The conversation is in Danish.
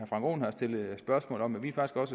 frank aaen har stillet spørgsmål om vi